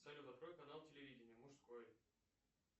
салют открой канал телевидение мужской